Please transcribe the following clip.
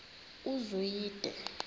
uzwide